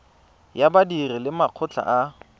ya badiri le makgotla a